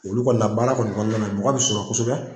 Olu kɔni na baara kɔni kɔnɔna na mɔgɔ bɛ sɔrɔ kosɛbɛ.